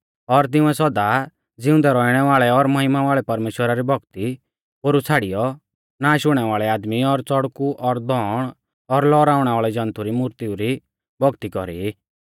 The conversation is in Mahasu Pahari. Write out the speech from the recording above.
और तिंउऐ सौदा ज़िउंदै रौउणै वाल़ै और महिमा वाल़ै परमेश्‍वरा री भौक्ती पोरु छ़ाड़ीयौ नाश हुणै वाल़ै आदमी और चड़कु और धौण और लौअराणै वाल़ै जन्तु री मुर्तीऊ री भौक्ती कौरी